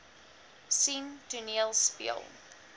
sien toneel speel